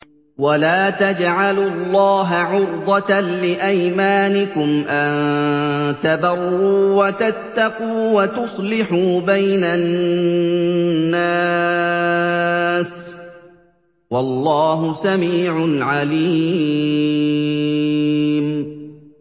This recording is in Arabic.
وَلَا تَجْعَلُوا اللَّهَ عُرْضَةً لِّأَيْمَانِكُمْ أَن تَبَرُّوا وَتَتَّقُوا وَتُصْلِحُوا بَيْنَ النَّاسِ ۗ وَاللَّهُ سَمِيعٌ عَلِيمٌ